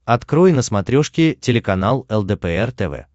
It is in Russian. открой на смотрешке телеканал лдпр тв